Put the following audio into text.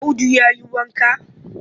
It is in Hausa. Audu ya yi wanka?